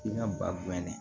I ka ba gɛn dɛ